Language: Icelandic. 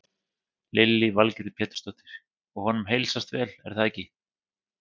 Lillý Valgerður Pétursdóttir: Og honum heilsast vel er það ekki?